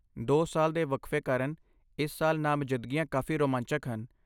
ਦੋ ਸਾਲ ਦੇ ਵਕਫੇ ਕਾਰਨ ਇਸ ਸਾਲ ਨਾਮਜ਼ਦਗੀਆਂ ਕਾਫੀ ਰੋਮਾਂਚਕ ਹਨ